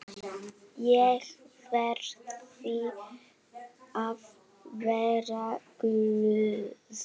Ég verði að vera glöð.